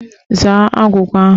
Zaa agwụgwa ahụ!